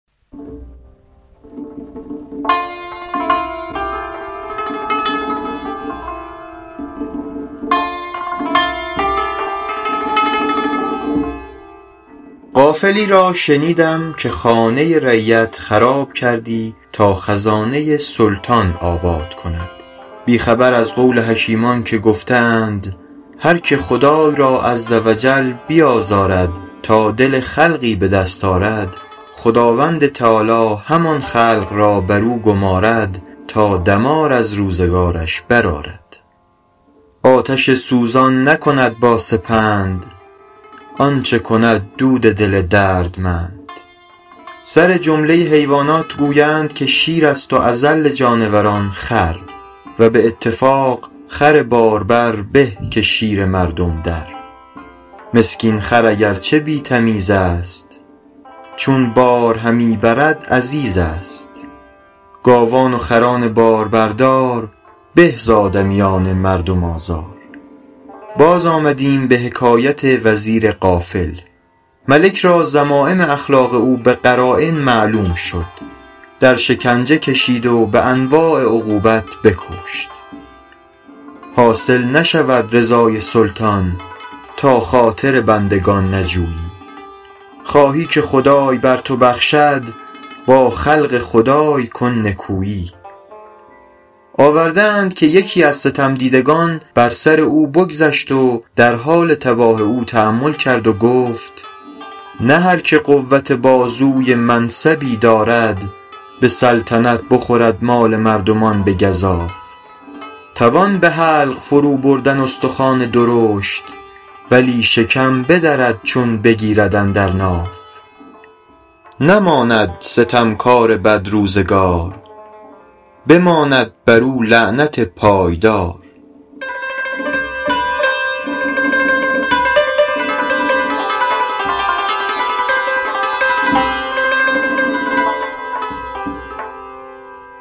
غافلی را شنیدم که خانه رعیت خراب کردی تا خزانه سلطان آباد کند بی خبر از قول حکیمان که گفته اند هرکه خدای را -عزوجل- بیازارد تا دل خلقی به دست آرد خداوند تعالیٰ همان خلق را بر او گمارد تا دمار از روزگارش برآرد آتش سوزان نکند با سپند آنچه کند دود دل دردمند سرجمله حیوانات گویند که شیر است و اذل جانوران خر و به اتفاق خر باربر به که شیر مردم در مسکین خر اگر چه بی تمیز است چون بار همی برد عزیز است گاوان و خران باربردار به ز آدمیان مردم آزار باز آمدیم به حکایت وزیر غافل ملک را ذمایم اخلاق او به قراین معلوم شد در شکنجه کشید و به انواع عقوبت بکشت حاصل نشود رضای سلطان تا خاطر بندگان نجویی خواهی که خدای بر تو بخشد با خلق خدای کن نکویی آورده اند که یکی از ستم دیدگان بر سر او بگذشت و در حال تباه او تأمل کرد و گفت نه هرکه قوت بازوی منصبی دارد به سلطنت بخورد مال مردمان به گزاف توان به حلق فرو بردن استخوان درشت ولی شکم بدرد چون بگیرد اندر ناف نماند ستم کار بدروزگار بماند بر او لعنت پایدار